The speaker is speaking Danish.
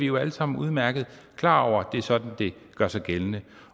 jo alle sammen udmærket klar over det er sådan det gør sig gældende